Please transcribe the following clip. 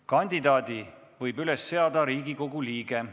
Kandidaadi võib üles seada Riigikogu liige.